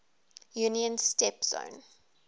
union's steppe zone